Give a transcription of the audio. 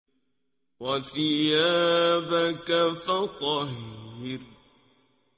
وَثِيَابَكَ فَطَهِّرْ